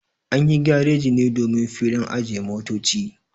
Anyi gareji ne domin filin ajiye motoci